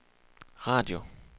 radio